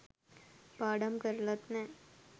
පාඩම් කරලත් නෑ